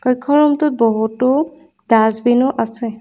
কক্ষৰুমটোত বহুতো ডাষ্টবিন ও আছে।